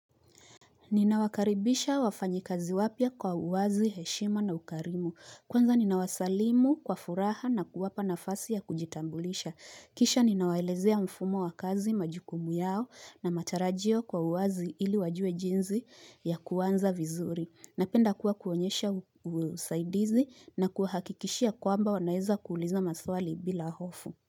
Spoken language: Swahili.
Ninawakaribisha wafanyakazi wapya kwa uwazi, heshima na ukarimu. Kwanza ninawasalimu kwa furaha na kuwapa nafasi ya kujitambulisha. Kisha ninawaelezea mfumo wa kazi majukumu yao na matarajio kwa uwazi ili wajue jinsi ya kuanza vizuri. Napenda kuwa kuonyesha usaidizi na kuahakikishia kwamba wanaweza kuuliza maswali bila hofu.